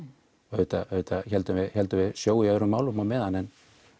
auðvitað héldum við héldum við sjó í öðrum málum á meðan en